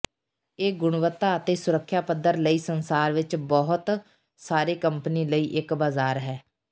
ਇਹ ਗੁਣਵੱਤਾ ਅਤੇ ਸੁਰੱਿਖਆ ਪੱਧਰ ਲਈ ਸੰਸਾਰ ਵਿਚ ਬਹੁਤ ਸਾਰੇ ਕੰਪਨੀ ਲਈ ਇੱਕ ਬਜ਼ਾਰ ਹੈ